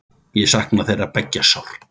Ég sakna þeirra beggja sárt.